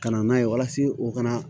Ka na n'a ye walasa o kana